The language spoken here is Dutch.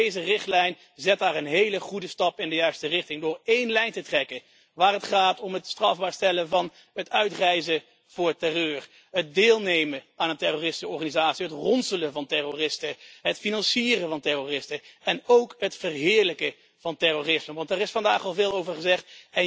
Deze richtlijn zet een hele goede stap in de juiste richting door één lijn te trekken waar het gaat om het strafbaar stellen van het uitreizen voor terreur, het deelnemen aan een terroristische organisatie, het ronselen van terroristen, het financieren van terroristen en ook het verheerlijken van terroristen want daar is vandaag al veel over gezegd.